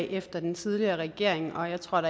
efter den tidligere regering og jeg tror